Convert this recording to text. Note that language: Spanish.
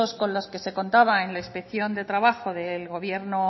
con los que se contaba en la inspección de trabajo del gobierno